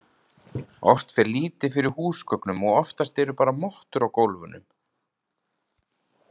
Oft fer lítið fyrir húsgögnum og oftast eru bara mottur á gólfunum.